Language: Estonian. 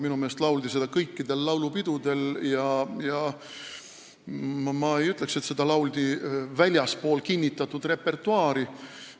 Minu meelest lauldi seda kõikidel laulupidudel ja ma ei ütleks, et seda lauldi väljaspool kinnitatud repertuaari.